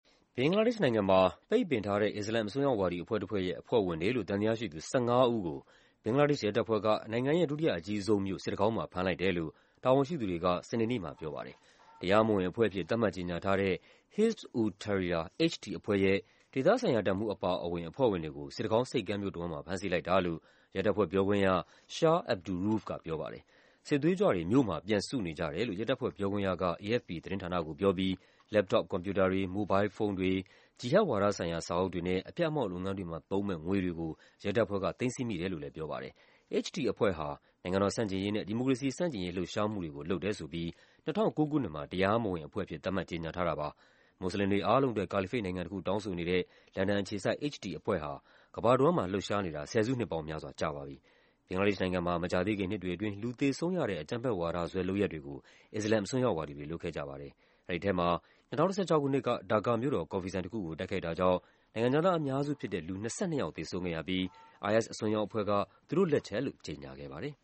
ဘင်္ဂလားဒေ့ရှ်နိုင်ငံမှာ ပိတ်ပင်ထားတဲ့ အစ္စလာမ် အစွန်းရောက်ဝါဒီ အဖွဲ့တဖွဲ့ရဲ့ အဖွဲ့ဝင်တွေလို့ သံသယရှိသူ ၁၅ ဦးကို ဘင်္ဂလားဒေ့ရှ် ရဲတပ်ဖွဲ့က နိုင်ငံရဲ့ ဒုတိယအကြီးဆုံးမြို့ စစ်တကောင်းမှာ ဖမ်းလိုက်တယ်လို့ တာဝန်ရှိသူတွေက စနေနေ့မှာ ပြောပါတယ်။ တရားမဝင်အဖွဲ့အဖြစ် သတ်မှတ်ကြေညာထားတဲ့ Hizb ut-Tahrir (HT) အဖွဲ့ရဲ့ ဒေသဆိုင်ရာတပ်မှူး အပါအဝင် အဖွဲ့ဝင်တွေကို စစ်တကောင်းဆိပ်ကမ်းမြို့ တဝန်းမှာ ဖမ်းဆီးလိုက်တာလို့ ရဲတပ်ဖွဲ့ပြောခွင့်ရ Shah Abdur Rouf က ပြောပါတယ်။ “စစ်သွေးကြွတွေ မြို့မှာ ပြန်စုနေကြတယ်” လို့ ရဲတပ်ဖွဲ့ပြောခွင့်ရက AFP သတင်းဌာနကိုပြောပြီး လက်ပ်တော့ပ်ကွန်ပျူတာတွေ၊ မိုဘိုင်းလ်ဖုန်းတွေ၊ ဂျီဟတ်ဝါဒဆိုင်ရာ စာအုပ်တွေနဲ့ အဖျက်အမှောင့် လုပ်ငန်းတွေမှာ သုံးမယ့် ငွေတွေကို ရဲတပ်ဖွဲ့က သိမ်းဆည်းမိတယ်လို့လည်း ပြောပါတယ်။ HT အဖွဲ့ဟာ နိုင်ငံတော်ဆန့်ကျင်ရေးနဲ့ ဒီမိုကရေစီဆန့်ကျင်ရေး လှုပ်ရှားမှုတွေကို လုပ်တယ်ဆိုပြီး ၂၀၀၉ ခုနှစ်မှာ တရားမဝင်အဖွဲ့အဖြစ် သတ်မှတ် ကြေညာထားတာပါ။ မွတ်စလင်တွေ အားလုံးအတွက် ကာလီဖိတ်နိုင်ငံတခု တောင်းဆိုနေတဲ့ လန်ဒန်အခြေစိုက် HT အဖွဲ့ဟာ ကမ္ဘာတဝန်းမှာ လှုပ်ရှားနေတာ ဆယ်စုနှစ်ပေါင်းများစွာ ကြာပါပြီ။ ဘင်္ဂလားဒေ့ရှ်နိုင်ငံမှာ မကြာသေးခင် နှစ်တွေအတွင်း လူသေဆုံးရတဲ့ အကြမ်းဖက်ဝါဒစွဲ လုပ်ရပ်တွေကို အစ္စလာမ် အစွန်းရောက်ဝါဒီတွေ လုပ်ခဲ့ကြပါတယ်။ အဲဒီထဲမှာ ၂၀၁၆ ခုနှစ်က ဒါကာမြို့တော် ကော်ဖီဆိုင်တခုကို တိုက်ခိုက်တာကြောင့် နိုင်ငံခြားသား အများစုဖြစ်တဲ့ လူ ၂၂ ယောက် သေဆုံးခဲ့ရပြီး IS အစွန်းရောက်အဖွဲ့က သူတို့်လက်ချက်လို့ ကြေညာခဲ့ပါတယ်